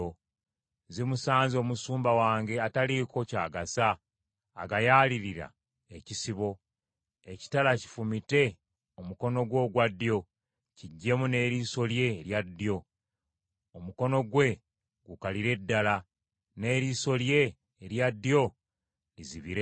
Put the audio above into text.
“ ‘Zimusanze omusumba wange ataliiko ky’agasa agayaalirira ekisibo! Ekitala kifumite omukono gwe ogwa ddyo, kiggyemu n’eriiso lye erya ddyo! Omukono gwe gukalire ddala, n’eriiso lye erya ddyo lizibire ddala!’ ”